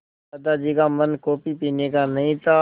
दादाजी का मन कॉफ़ी पीने का नहीं था